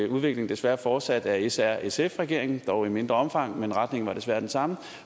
udviklingen desværre fortsat af srsf regeringen dog i et mindre omfang men retningen var desværre den samme